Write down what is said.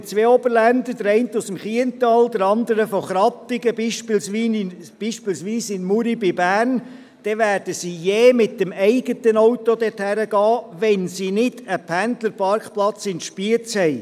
Arbeiten zwei Oberländer, der eine aus dem Kiental, der andere aus Krattigen, beispielsweise in Muri bei Bern, dann werden sie je mit dem eigenen Auto dorthin fahren, wenn sie nicht einen Pendlerparkplatz in Spiez haben.